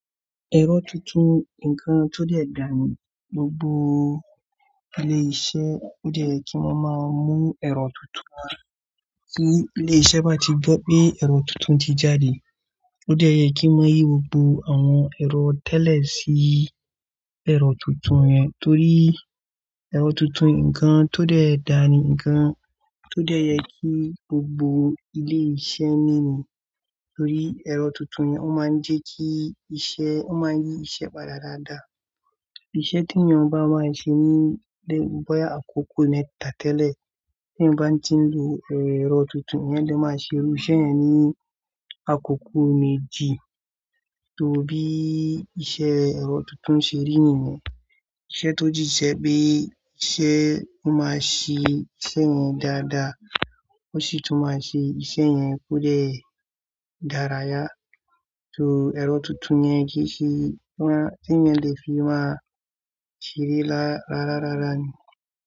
Ẹ̀rọ tuntun nǹkan tó dẹ̀ dáa ni, gbogbo ilé-iṣẹ́ ó dẹ̀ ẹ kí wọ́n máa mú ẹ̀rọ tuntun náà. Tí ilé-iṣẹ́ bá ti gbọ́ pé ẹ̀rọ tuntun ti jáde, ó dé ẹ kí wọ́n yí gbogbo àwọn ẹ̀rọ tẹ́lẹ̀ sí ẹ̀rọ tuntun yẹn torí ẹ̀rọ tuntun nǹkan tó dẹ̀ dáa ni nǹkan tó dẹ yẹ kí gbogbo ilé-iṣẹ́ ní ni. Torí ẹ̀rọ tuntun yẹn ó máa ń jẹ́ kí iṣẹ́ ó máa yí iṣẹ́ padà dáadáa. Ìṣe tí ènìyàn bá máa ṣe ní ilé bóyá àkókò mẹ́ta tẹ́lẹ̀, tí ènìyàn bá ń ti lò ẹ̀rọ tuntun yẹn lè máa ṣe irú iṣẹ́ yẹn ní àkókò méjì torí iṣẹ́ ẹ̀rọ tuntun ṣe rí nìyẹn. Ìṣẹ́ tó sì jẹ́ pé iṣẹ́ ó máa ṣe iṣẹ́ yẹn dáadáa, ó sì tún máa ṣe iṣẹ́ yẹn kó dẹ̀ dára yá torí ẹ̀rọ tuntun yẹn kì í ṣe, tí èèyàn lè fi máa ṣeré lára rárá ni.